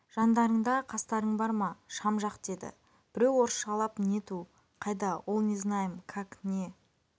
жандарыңда қастарың бар ма шам жақ деді біреу орысшалап нету қайда ол не знаем как не